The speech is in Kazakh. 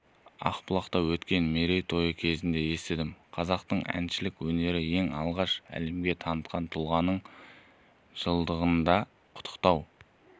ақбұлақта өткен мерейтойы кезінде естідім қазақтың әншілік өнерін ең алғаш әлемге танытқан тұлғаның жылдығында құттықтау